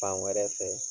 Fan wɛrɛ fɛ